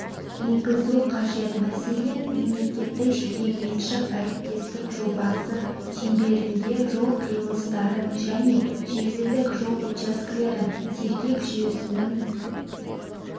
енгізу қажет мәселен мемлекеттік-жекеменшік әріптестік жобасы шеңберінде жол қиылыстарын және желілік жол учаскелерін сергек жүйесінің